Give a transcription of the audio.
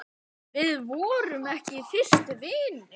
Við vorum ekki vinir fyrst.